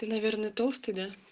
ты наверное толстый да